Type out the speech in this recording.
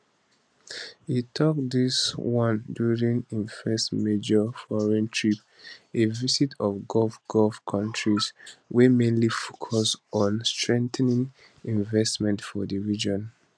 e tok dis wan during im first major um foreign trip a visit of gulf gulf countries wey mainly focus on strengthening investment for di region